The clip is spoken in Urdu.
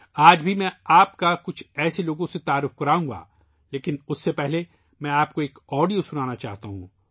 آج بھی میں آپ کو کچھ ایسے لوگوں سے متعارف کراؤں گا لیکن اس سے پہلے میں آپ کو ایک آڈیو سنانا چاہتا ہوں